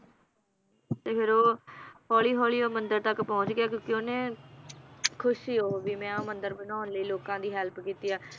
ਤੇ ਫਿਰ ਉਹ ਹੌਲੀ ਹੌਲੀ ਉਹ ਮੰਦਿਰ ਤੱਕ ਪਹੁੰਚ ਗਿਆ ਕਿਉਂਕਿ ਓਹਨੇ ਖੁਸ਼ ਸੀ ਉਹ ਵੀ ਮੈ ਉਹ ਮੰਦਿਰ ਬਣਾਉਣ ਲਈ ਲੋਕਾਂ ਦੀ help ਕੀਤੀ ਆ